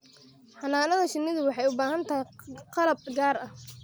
Xannaanada shinnidu waxay u baahan tahay qalab gaar ah.